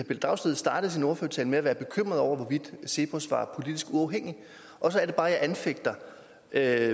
pelle dragsted startede sin ordførertale med at være bekymret over hvorvidt cepos var politisk uafhængig og så er det bare jeg anfægter at